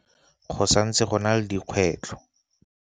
Go santse go na le dikgwetlho.